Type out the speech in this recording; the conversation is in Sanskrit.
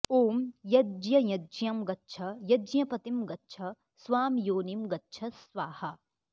ॐ यज्ञ यज्ञं गच्छ यज्ञपतिं गच्छ स्वां योनिं गच्छ स्वाहा